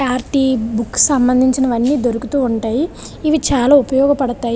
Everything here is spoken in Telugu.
బుక్ సంబంధించివన్నీ దొరుకుతూ ఉంటాయి. ఇది చాలా ఉపయోగపడతాయి.